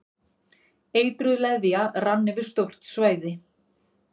Eitruð leðja rann yfir stórt svæði